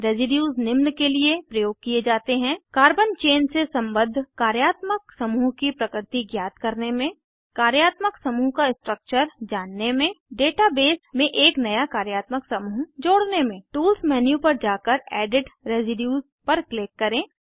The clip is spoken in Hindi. रेसीड्यूज़ निम्न के लिए प्रयोग किये जाते हैं कार्बन चेन से सम्बद्ध कार्यात्मक समूह की प्रकृति ज्ञात करने में कार्यात्मक समूह का स्ट्रक्चर जानने में डेटा बेस में एक नया कार्यात्मक समूह जोड़ने में टूल्स मेन्यू पर जाकर एडिट रेसीड्यूज़ पर क्लिक करें